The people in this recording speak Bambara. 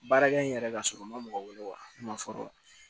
Baarakɛ in yɛrɛ ka sɔrɔ ma mɔgɔ wele wa sɔrɔ